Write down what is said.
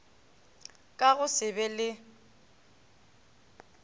ka go se be le